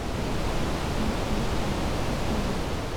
найти папа в законе